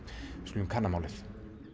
við skulum kanna málið